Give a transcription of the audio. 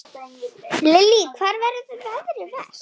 Lillý: Hvar verður veðrið verst?